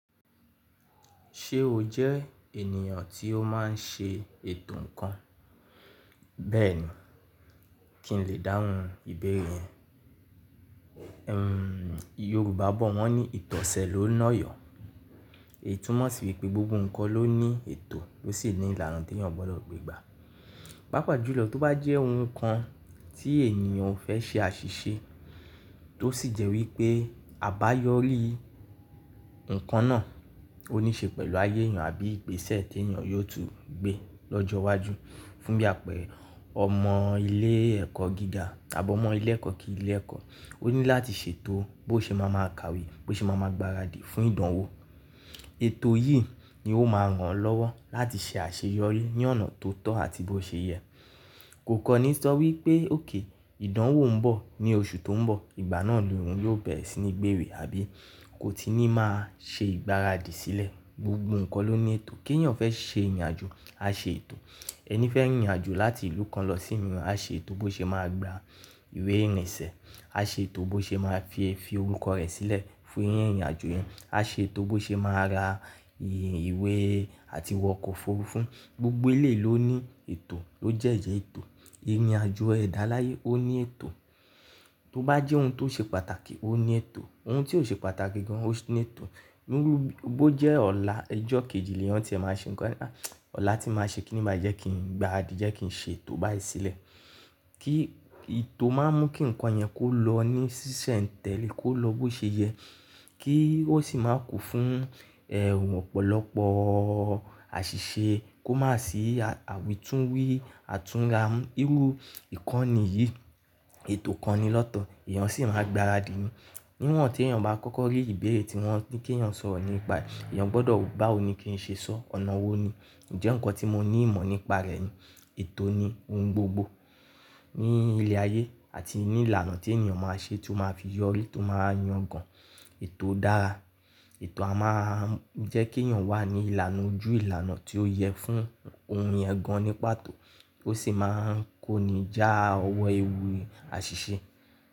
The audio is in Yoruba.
Ṣé o jẹ́ ènìyàn tí ó máa ń ṣe ètò nnkan? Bẹ́ẹ̀ni, kí n lè dáhùn ìbéèrè ẹ. Hmm, Yorùbá bọ̀ wọ́n ní ìtọ̀sẹ̀ ló nọyọ̀. Eyi tùmọ̀ sí wípé gbogbo ńkan ló ní ètò ló sì ní ìlànà tèèyàn gbọ́dọ̀ gbé gbà. Pápá jùlọ tó bá jẹ́ ohun kan tí èèyàn ò fẹ́ ṣe àṣìṣe, tó sì jẹ́ wípé àbáyọrí nnkan náà, ó ní í ṣe pẹ̀lú ayé èèyàn àbí igbesẹ tèèyàn yóò tún gbé lọ́jọ́ iwájú. Fún bi àpẹẹrẹ ọmọ ilé ẹ̀kọ́ gíga tàbí ọmọ ilé ẹ̀kọ́ kí í ilé ẹ̀kọ́, ó ní láti ṣètò bó ṣe máa máa kàwé, bó ṣe máa máa gbaradì fún ìdánwò. Ètò yìí ni ó máa ràn án lọ́wọ́ láti ṣe àṣeyọrí ní ọ̀nà tó tọ́ àti bó ṣe yẹ. Kò kọ́ni sọ wípé okay ìdánwò ń bọ̀ ní oṣù tó ń bọ̀, ìgbà náà ni òun yóò bẹ̀rẹ̀ sí ní gbewe àbí kò tí ì ní máa ṣe ìgbáradì sílẹ̀. Gbogbo nnkan ló ní ètò. Kí èèyàn fẹ́ ṣe ìrìnàjò, á ṣe ètò. Ẹni fẹ́ rìnrin àjò láti ìlú kan lọ sí miiran, á ṣe ètò bó ṣe máa gba ìwé ìrìnsẹ̀, á ṣe ètò bó ṣe máa fi fi orúkọ rẹ̀ sílẹ̀ fún ìrìnàjò yẹn, á ṣe ètò bó ṣe máa ra ìwé àti wọ ọkọ̀ òfurufú. Gbogbo eleyi ló ní ètò ló dẹ ètò. Ìrìnàjò ẹ̀dá láyé ó ní ètò. Tó bá jẹ́ ohun tó ṣe pàtàkì ó ní ètò. Ohun tí ò ṣe pàtàkì gan-an ó sì ní ètò. Níru b-bó jẹ́ ọ̀la ijọ kejì lèèyàn tí ẹ máa ṣe nnkan, ọ̀la tí n máa ṣe kí ni máa jẹ́ kí n gbaràdí jẹ́ kí n ṣètò báyìí sílẹ̀. Kí ètò máa mú kí nnkan yẹn kó lọ ní ṣiṣẹ̀ ń tẹ́lẹ̀, kó lọ bó ṣe yẹ, kí ó sì máa kún fún ẹ ọ̀pọ̀lọpọ̀ àṣìṣe, kó má sì àwitúnwí, àtúnramu. Irú nnkàn nìyìí, ètò kan ni lọ́tọ̀, èèyàn sì máa gbaradì ni. Níwọ̀n tí èèyàn bá kọ́kọ́ rí ìbéèrè tí wọ́n ní kí èèyàn sọ̀rọ̀ nípa, èèyàn gbọ́dọ̀ wo báwo ní kí n ṣe sọ́, ọ̀nà wò ní? Ǹjẹ́ nnkan tí mo ní ìmọ̀ nípa rẹ̀ ni? Ètò ni ohun gbogbo ní ilẹ̀ ayé àti ní ìlànà tí èniyàn máa ṣe tí ó máa fi yọrí tó máa yan gan-an. Ètò dára. Ètò a máa ń jẹ́ kí èèyàn wà ní ìlànà ojú ìlànà tí ó yẹ fún ohun yẹn gan-an ní pàtó bó sì máa ń kó ni jà ọwọ́ ewu àṣìṣe.